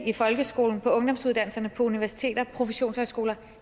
i folkeskolen på ungdomsuddannelserne universiteterne og professionshøjskolerne